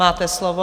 Máte slovo.